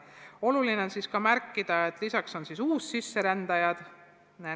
Oluline on ka märkida, et lisaks on meil ka uussisserändajad.